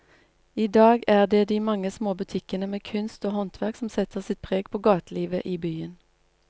I dag er det de mange små butikkene med kunst og håndverk som setter sitt preg på gatelivet i byen.